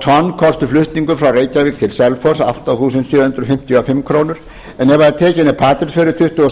er getið flutningur frá reykjavík til selfoss kosti átta þúsund sjö hundruð fimmtíu og fimm krónur á tonnið tuttugu